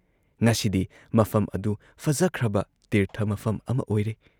ꯉꯁꯤꯗꯤ ꯃꯐꯝ ꯑꯗꯨ ꯐꯖꯈ꯭ꯔꯕ ꯇꯤꯔꯊ ꯃꯐꯝ ꯑꯃ ꯑꯣꯏꯔꯦ ꯫